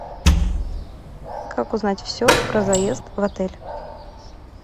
как узнать все про заезд в отель